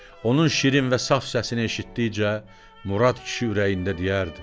Onun şirin və saf səsini eşitdikcə Murad kişi ürəyində deyərdi: